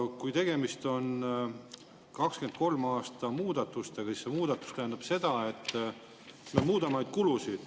Ja kui tegemist on 2023. aasta muudatustega, siis see muudatus tähendab seda, et me muudame neid kulusid.